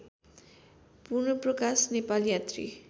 पूर्णप्रकाश नेपाल यात्री